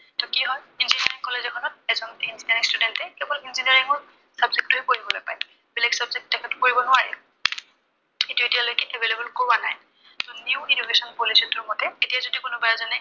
এইটো কি হয়, engineering college এখনত এজন engineering student এ কেৱল engineer ৰ subject টোহে পঢ়িবলৈ পায়। বেলেগ subject তেখেতে পঢ়িব নোৱাৰে। সেইটো এতিয়ালৈকে available কৰোৱা নাই। new education policy টোৰ মতে এতিয়া যদি কোনোবা এজনে